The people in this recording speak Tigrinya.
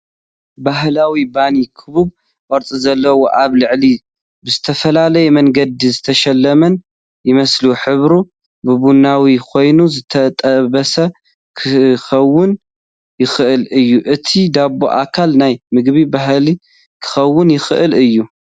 ባህላዊ ባኒ ክቡብ ቅርጺ ዘለዎን ኣብ ላዕሊ ብዝተፈላለየ መንገዲ ዝተሸለመን ይመስል። ሕብሩ ቡናዊ ኮይኑ ዝተጠበሰ ክኸውን ይኽእል እዩ። እቲ ዳቦ ኣካል ናይ ምግቢ ባህሊ ክኸውን ይኽእል እዩ።